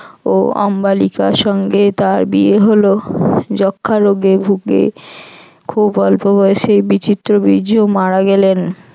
ও অম্বালিকার সঙ্গে তার বিয়ে হল যক্ষা রোগে ভুগে খুব অল্প বয়সে বিচিত্রবীর্য মারা গেলেন।